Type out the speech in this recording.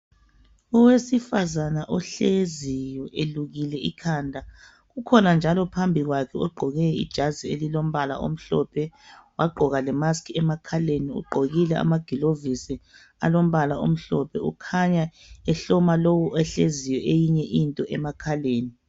Owesifazana ohleziyo elukile ikhanda kukhona njalo phambi kwakhe egqoke ijazi elilombala omhlophe wagqoka lemask emakhaleni, ugqokile amagulovisi alombala omhlophe ukhanya ehloma lowu ohleziyo eyinye into emakhaleni.